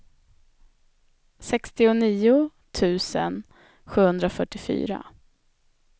sextionio tusen sjuhundrafyrtiofyra